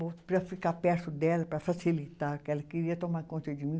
Para ficar perto dela, para facilitar, porque ela queria tomar conta de mim.